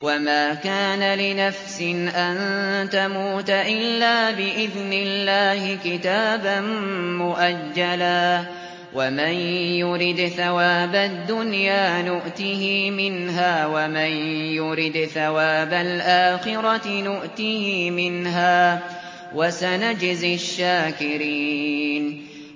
وَمَا كَانَ لِنَفْسٍ أَن تَمُوتَ إِلَّا بِإِذْنِ اللَّهِ كِتَابًا مُّؤَجَّلًا ۗ وَمَن يُرِدْ ثَوَابَ الدُّنْيَا نُؤْتِهِ مِنْهَا وَمَن يُرِدْ ثَوَابَ الْآخِرَةِ نُؤْتِهِ مِنْهَا ۚ وَسَنَجْزِي الشَّاكِرِينَ